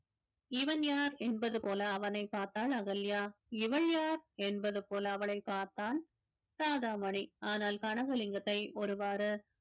இவன் யார் என்பது போல அவனை பார்த்தாள் அகல்யா இவள் யார் என்பது போல அவளைப் பார்த்தான் ஆனால் கனகலிங்கத்தை ஒருவாறு